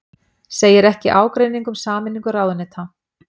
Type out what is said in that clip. Segir ekki ágreining um sameiningu ráðuneyta